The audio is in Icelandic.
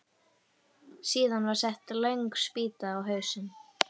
Síðan var sett löng spýta á hausinn.